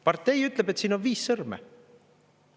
" Partei ütleb, et siin on viis sõrme.